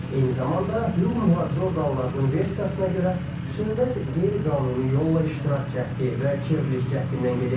Eyni zamanda hüquq mühafizə orqanlarının versiyasına görə, söhbət qeyri-qanuni yolla iştirak cəhdi və çevriliş cəhdindən gedir.